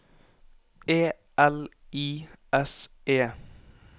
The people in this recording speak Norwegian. E L I S E